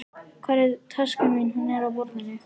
Hvar er taskan þín? Hún er á borðinu.